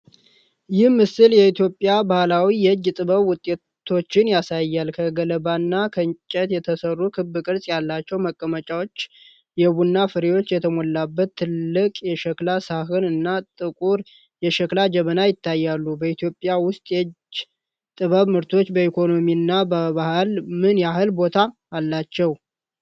ይህ ምስል የኢትዮጵያ ባህላዊ የእጅ ጥበብ ውጤቶችን ያሳያል። ከገለባና ከጨርቅ የተሠሩ ክብ ቅርጽ ያላቸው መቀመጫዎች፣ የቡና ፍሬዎች የተሞላበት ትልቅ የሸክላ ሳህን እና ጥቁር የሸክላ ጀበና ይታያሉ በኢትዮጵያ ውስጥ የእጅ ጥበብ ምርቶች በኢኮኖሚና በባህል ምን ያህል ቦታ አላቸው?